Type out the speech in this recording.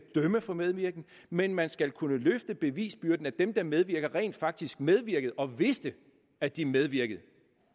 dømme for medvirken men man skal kunne løfte bevisbyrden og dem der medvirkede rent faktisk medvirkede og vidste at de medvirkede